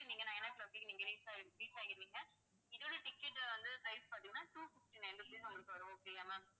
நீங்க nine o'clock கே நீங்க reach ஆயி~ reach ஆயிருவீங்க இதோட ticket வந்து rate பாத்தீங்கன்னா two fifty-nine rupees உங்களுக்கு வரும் okay யா ma'am